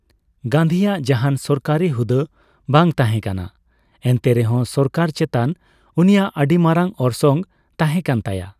ᱜᱟᱱᱫᱷᱤᱭᱟᱜ ᱡᱟᱦᱟᱱ ᱥᱚᱨᱠᱟᱨᱤ ᱦᱩᱫᱟᱹ ᱵᱟᱝ ᱛᱟᱦᱮᱠᱟᱱᱟ, ᱮᱱᱛᱮ ᱨᱮᱦᱚᱸ ᱥᱟᱨᱠᱟᱨ ᱪᱮᱛᱟᱱ ᱩᱱᱤᱭᱟᱜ ᱟᱹᱰᱤ ᱢᱟᱨᱟᱝ ᱚᱨᱥᱚᱝ ᱛᱟᱦᱸᱮᱠᱟᱱ ᱛᱟᱭᱟ ᱾